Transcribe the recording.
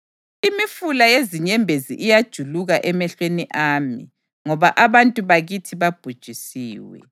Imifula yezinyembezi iyajuluka emehlweni ami ngoba abantu bakithi babhujisiwe.